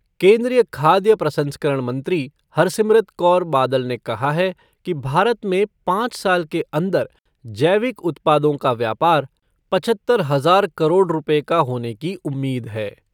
केन्द्रीय खाद्य प्रसंस्करण मंत्री हरसिमरत कौर बादल ने कहा है कि भारत में पाँच साल के अंदर जैविक उत्पादों का व्यापार पचहत्तर हज़ार करोड़ रुपए का होने की उम्मीद है।